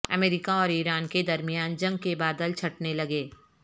امریکا اور ایران کے درمیان جنگ کے بادل چھٹنے لگے